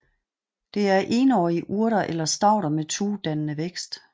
Det er énårige urter eller stauder med tuedannende vækst